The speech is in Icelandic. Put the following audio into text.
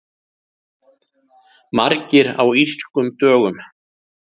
Margir á Írskum dögum